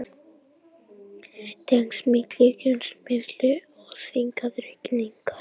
Tengsl milli kjötneyslu og þyngdaraukningar